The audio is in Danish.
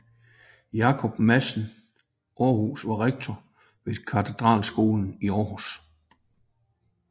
Jakob Madsen Aarhus var rektor ved katedralskolen i Århus